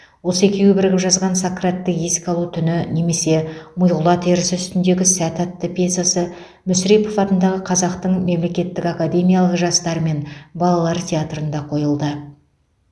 осы екеуі бірігіп жазған сократты еске алу түні немесе миғұла терісі үстіндегі сәт атты пьесасы мүсірепов атындағы қазақтың мемлекеттік академиялық жастар мен балалар театрында қойылды